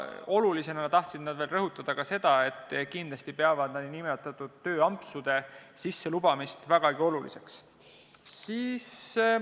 Nad tahtsid eraldi rõhutada seda, et peavad kindlasti tööampsude lubamist vägagi oluliseks.